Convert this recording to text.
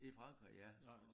I Frankrig ja